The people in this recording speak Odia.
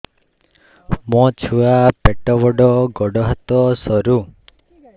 ମୋ ଛୁଆ ପେଟ ବଡ଼ ଗୋଡ଼ ହାତ ସରୁ